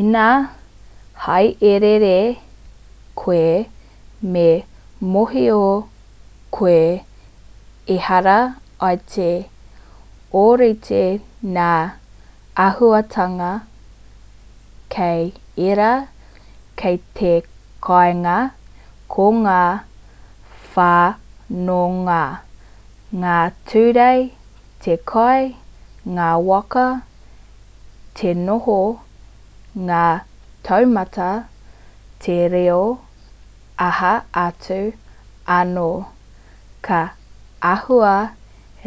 ina hāereere koe me mōhio koe ehara i te ōrite ngā āhuatanga ki ērā ki te kāinga ko ngā whanonga ngā ture te kai ngā waka te noho ngā taumata te reo aha atu anō ka āhua